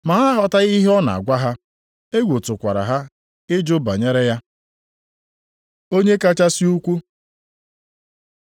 Ma ha aghọtaghị ihe ọ na-agwa ha. Egwu tụkwara ha ị jụ banyere ya. Onye kachasị ukwuu